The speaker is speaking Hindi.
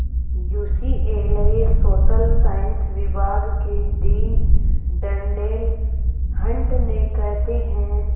यूसीएलए सोशल साइंस विभाग के डीन डर्नेल हंट ने कहते हैं